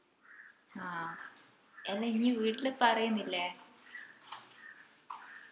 ആഹ് എല്ലാ ഇഞ് വീട്ടില് പറേന്നില്ലേ